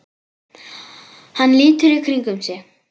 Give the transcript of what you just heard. Hann lítur í kringum sig.